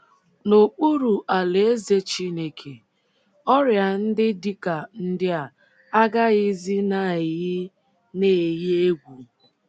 N’okpuru Alaeze Chineke, ọrịa ndị dị ka ndị a agaghịzi na - eyi na - eyi egwu